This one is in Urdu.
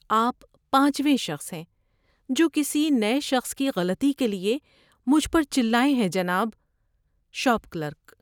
آپ پانچویں شخص ہیں جو کسی نئے شخص کی غلطی کے لیے مجھ پر چلائے ہیں جناب۔ (شاپ کلرک)